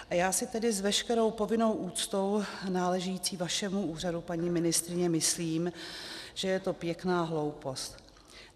A já si tedy s veškerou povinnou úctou náležející vašemu úřadu, paní ministryně, myslím, že je to pěkná hloupost.